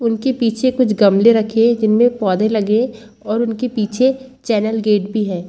के पीछे कुछ गमले रखे है जिनमें पौधे लगे है और उनके पीछे चैनल गेट भी है।